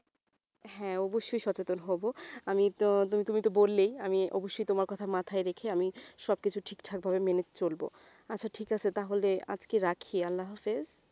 হ্যাঁ অবশ্যই সচেতন হব আমি ~ তুমি তো বললেই আমি অবশ্যই তোমার কথা মাথায় রেখে আমি সবকিছু ঠিকঠাক ভাবে মেনে চলব আচ্ছা ঠিক আছে তাহলে আজকে রাখি আল্লাহ হাফিজ